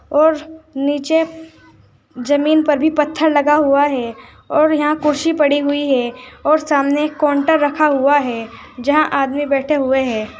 और नीचे जमीन पर भी पत्थर लगा हुआ है और यहां कुर्सी पड़ी हुई है और सामने काउंटर रखा हुआ है यहां आदमी बैठे हुए हैं।